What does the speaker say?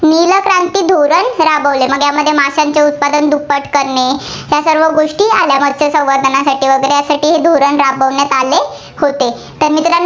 राबवले. म्हणजे माशांचे उत्पादन दुप्पट करणे, यासर्व गोष्टी आल्या. मत्स्य संवर्धनासाठी वगैरे हे धोरण राबवण्यात आले होते. तर मित्रांनो